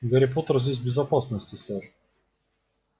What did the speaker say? гарри поттер здесь в безопасности сэр